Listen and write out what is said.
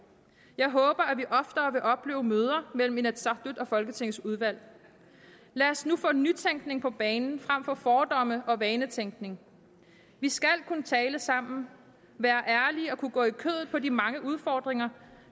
jeg håber at vi oftere vil opleve møder mellem inatsisartut og folketingets udvalg lad os nu få nytænkning på banen frem for fordomme og vanetænkning vi skal kunne tale sammen være ærlige og kunne gå i kødet på de mange udfordringer